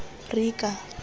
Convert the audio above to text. rika